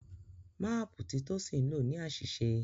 Máàpù tí Tosin nlọ ní àṣìṣe.